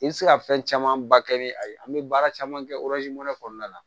I bɛ se ka fɛn camanba kɛ ni a ye an bɛ baara caman kɛ wɛrɛ kɔnɔna la